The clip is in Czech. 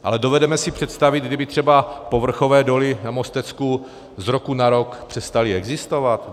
Ale dovedeme si představit, kdyby třeba povrchové doly na Mostecku z roku na rok přestaly existovat?